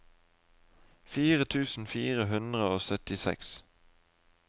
fire tusen fire hundre og syttiseks